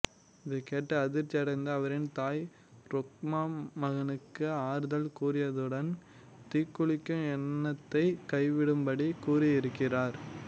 இதனைக் கேட்டு அதிர்ச்சியடைந்த அவரின் தாய் ரோகம்பா மகனுக்கு ஆறுதல் கூறியதுடன் தீக்குளிக்கும் எண்ணத்தைக் கைவிடும்படி கூறியிருக்கிறார்